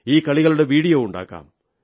ഈ കളികളുടെ വീഡിയോ ഉണ്ടാക്കാം